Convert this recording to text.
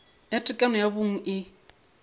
ya tekano ya bong e